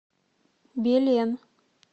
белен